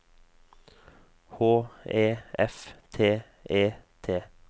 H E F T E T